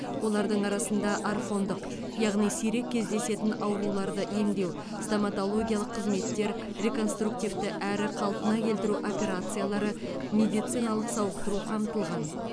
олардың арасында орфандық яғни сирек кезедесін ауруларды емдеу стоматологиялық қызметтер реконструктивті әрі қалпына келтіру операциялары медициналық сауықтыру қамтылған